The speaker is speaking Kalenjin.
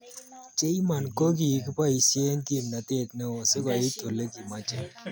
Cheimon ko kiboisie kimnatet neo sikoit olekimoche.